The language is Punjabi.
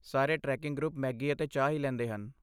ਸਾਰੇ ਟ੍ਰੈਕਿੰਗ ਗਰੁੱਪ ਮੈਗੀ ਅਤੇ ਚਾਹ ਹੀ ਲੈਂਦੇ ਹਨ।